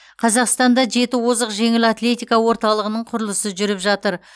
қазақстанда жеті озық жеңіл атлетика орталығының құрылысы жүріп жатыр